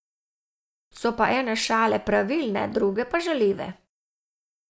So pa ene šale pravilne, druge pa žaljive.